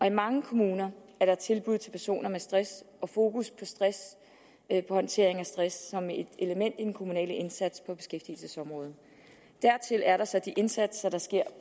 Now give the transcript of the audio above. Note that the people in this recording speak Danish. i mange kommuner er der tilbud til personer med stress og fokus på håndtering af stress som et element i den kommunale indsats på beskæftigelsesområdet dertil er der så de indsatser der sker